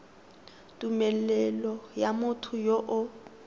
tumelelo ya motho yo o